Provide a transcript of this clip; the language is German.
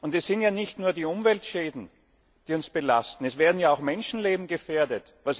Es sind ja nicht nur die Umweltschäden, die uns belasten. Es werden ja auch Menschenleben gefährdet.